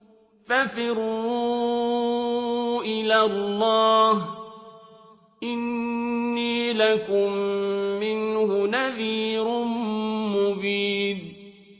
فَفِرُّوا إِلَى اللَّهِ ۖ إِنِّي لَكُم مِّنْهُ نَذِيرٌ مُّبِينٌ